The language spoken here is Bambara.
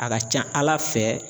A ka ca Ala fɛ